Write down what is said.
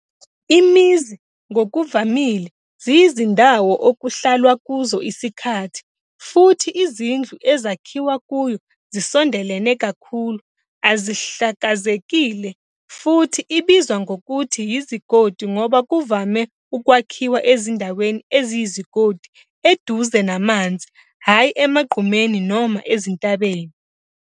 Imizi ngokuvamile ziyizindawo okuhlalwa kuzo isikhathi, futhi izindlu ezakhiwa kuyo zisondelene kakhulu, azihlakazekile, futhi ibizwa ngokuthi izigodi ngoba kuvame ukwakhiwa ezindaweni eziyizigodi eduze namanzi, hhayi emagqumeni noma ezintabeni.